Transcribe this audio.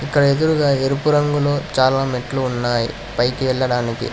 ఇక్కడ ఎదురుగా ఎరుపు రంగులో చాలా మెట్లు ఉన్నాయి పైకి వెళ్లడానికి.